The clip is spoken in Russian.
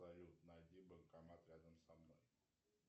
салют найди банкомат рядом со мной